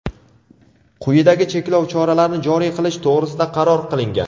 quyidagi cheklov choralarini joriy qilish to‘g‘risida qaror qilingan:.